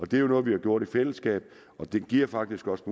det er jo noget vi har gjort i fællesskab og den giver faktisk også